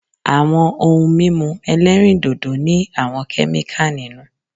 Àwọn ohun mímu ẹlẹ́rìndòdò ní àwọn kẹ́míkà nínú.